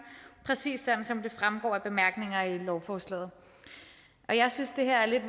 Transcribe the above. præcis som det fremgår af bemærkningerne i lovforslaget jeg synes det her lidt